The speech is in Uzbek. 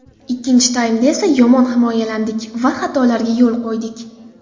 Ikkinchi taymda esa yomon himoyalandik va xatolarga yo‘l qo‘ydik.